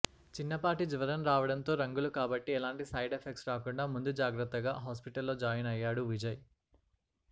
చిన్నపాటి జ్వరం రావడంతో రంగులు కాబట్టి ఎలాంటి సైడ్ ఎఫెక్ట్స్ రాకుండా ముందు జాగ్రత్తగా హాస్పిటల్లో జాయిన్ అయ్యాడు విజయ్